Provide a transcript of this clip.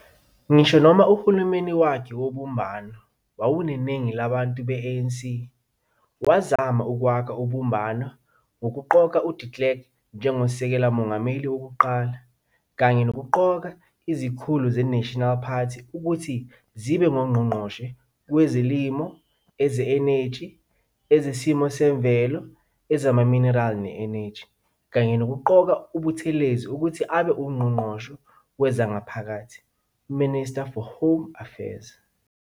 Ngisho noma uhulumeni wakhe wobumbano wawuneningi labantu be-ANC, wazama ukwakha ubumbano ngokuqoka uDe Klerk njengoSekela Mongameli wokuqala, kanye nokuqoka izikhulu ze-National Party ukuthi zibe ngoNgqongqoshe kwezolimo, Eze-Eneji, Ezesimo semvelo, ezaMaminerali ne-Eneji, kanye nokuqoka uButhelezi ukuthi abe nguNgqongqoshe weZangaphakathi, Minister for Home Affairs.